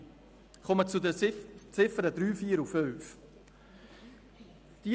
Ich komme zu den Ziffern 3, 4 und 5.